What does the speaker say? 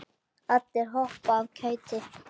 Allir hoppa af kæti.